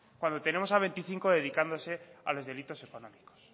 cuando tenemos a veinticinco dedicándose a los delitos económicos